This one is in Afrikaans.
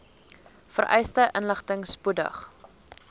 vereiste inligting spoedig